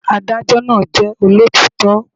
Adájó náà jẹ́ olótítọ́